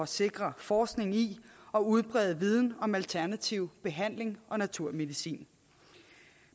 sikre forskning i og udbrede viden om alternativ behandling og naturmedicin